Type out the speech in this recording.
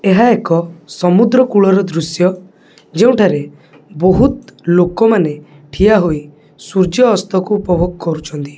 ଏହା ଏକ ସମୁଦ୍ର କୁଳ ର ଦୃଶ୍ୟ ଯେଉଁଠାରେ ବହୁତ ଲୋକମାନେ ଠିଆହୋଇ ସୂର୍ଯ୍ୟାସ୍ତ କୁ ଉପଭୋଗ କରୁଛନ୍ତି।